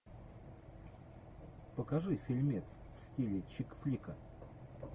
покажи фильмец в стиле чик флика